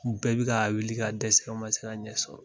U bɛɛ bi ka wuli ka dɛsɛ u ma se ka ɲɛ sɔrɔ.